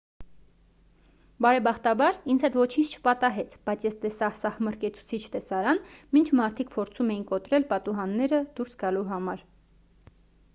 բարեբախտաբար ինձ հետ ոչինչ չպատահեց բայց ես տեսա սահմռկեցուցիչ տեսարան մինչ մարդիկ փորձում էին կոտրել պատուհանները դուրս գալու համար